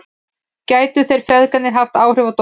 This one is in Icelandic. Gætu þeir feðgarnir haft áhrif á dóminn?